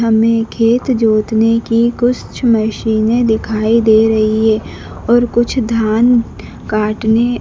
हमें खेत जोतने की कुछ मशीनें दिखाई दे रही है और कुछ धान काटने--